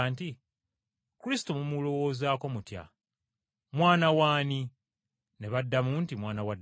“Kristo mumulowoozako mutya? Mwana waani?” Ne baddamu nti, “Mwana wa Dawudi.”